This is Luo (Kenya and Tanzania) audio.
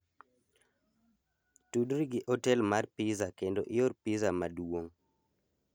tudri gi otel mar pizza kendo ior pizza maduong'